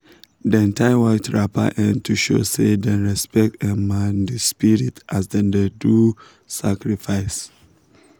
dem tie white wrapper um to show say dem respect um the spirit as dem um dey do sacrifice